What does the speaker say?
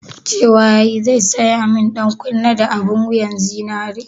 Cewa yayi zai saya mun ɗankunne da abun wuyan zinari?